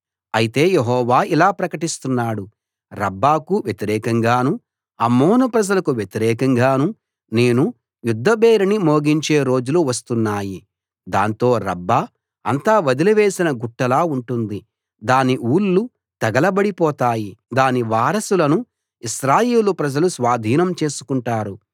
అయితే యెహోవా ఇలా ప్రకటిస్తున్నాడు రబ్బాకు వ్యతిరేకంగానూ అమ్మోను ప్రజలకు వ్యతిరేకంగానూ నేను యుద్ధ భేరీని మోగించే రోజులు వస్తున్నాయి దాంతో రబ్బా అంతా వదిలివేసిన గుట్టలా ఉంటుంది దాని ఊళ్ళు తగలబడి పోతాయి దాని వారసులను ఇశ్రాయేలు ప్రజలు స్వాధీనం చేసుకుంటారు